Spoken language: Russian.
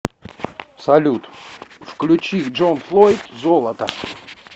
салют включи джонфлойд золото